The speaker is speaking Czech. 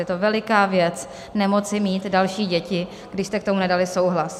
Je to veliká věc nemoci mít další děti, když jste k tomu nedali souhlas.